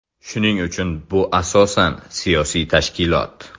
Shuning uchun bu asosan siyosiy tashkilot.